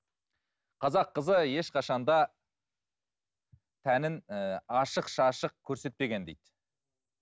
қазақ қызы ешқашан да тәнін ііі ашық шашық көрсетпеген дейді